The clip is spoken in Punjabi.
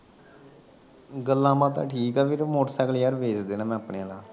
ਗੱਲਬਾਤਾਂ ਠੀਕ ਵੀਰ ਮੋਟਰਸਾਈਕਲ ਯਾਰ ਵੇਚ ਦੇਣਾ ਆਪਣੇ ਵਾਲਾ